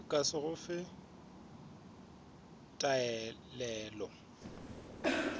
ka se go fe taelele